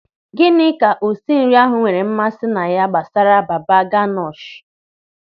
Gịnị ka osinri ahụ nwere mmasị na ya gbasara baba ganoush?